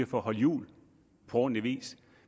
for at holde jul på ordentlig vis